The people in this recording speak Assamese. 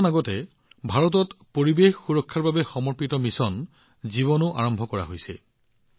কিছুদিন পূৰ্বে ভাৰতত পৰিৱেশ সুৰক্ষাৰ বাবে সমৰ্পিত মিছন লাইফও আৰম্ভ কৰা হৈছে